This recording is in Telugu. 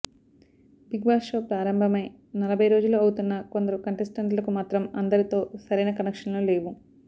బిగ్బాస్ షో ప్రారంభమై నలభై రోజులు అవుతున్నా కొందరు కంటెస్టెంట్లకు మాత్రం అందరితో సరైన కనెక్షన్లు లేవు